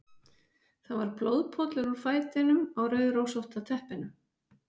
Það var blóðpollur úr fætinum á rauðrósótta teppinu.